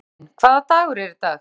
Friðvin, hvaða dagur er í dag?